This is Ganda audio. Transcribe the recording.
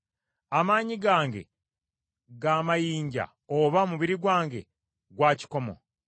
Amaanyi gange ga mayinja oba omubiri gwange gwa kikomo?